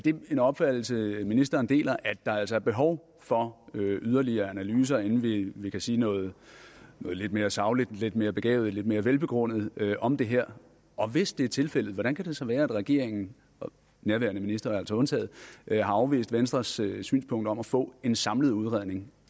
en opfattelse ministeren deler at der altså er behov for yderligere analyser inden vi vi kan sige noget lidt mere sagligt lidt mere begavet lidt mere velbegrundet om det her og hvis det er tilfældet hvordan kan det så være at regeringen nærværende minister altså undtaget har afvist venstres synspunkt om at få en samlet udredning